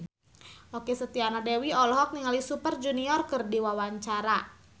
Okky Setiana Dewi olohok ningali Super Junior keur diwawancara